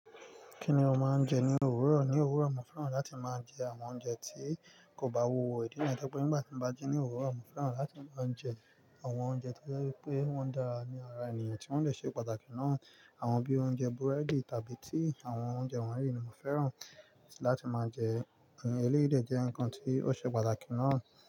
Kí ni o máa ń jẹ ní òwúrọ̀? Ní òwúrọ̀, mo fẹ́ràn láti máa jẹ àwọn oúnjẹ tí kò bá wuwo ìdí niyen. Nígbà tí mo bá ji ní òwúrọ̀, mo fẹ́ràn láti máa jẹ àwọn oúnjẹ tó je wipé wọ́n dára ní ara ènìyàn tí wọ́n lè ṣe pàtàkì náà. Àwọn bí i oúnjẹ búrẹ́dì tàbí tea àwọn oúnjẹ wọ̀nyí ni mo fẹ́ràn láti máa jẹ. Eléyìí jẹ́ nǹkan tí ó ṣe pàtàkì náà.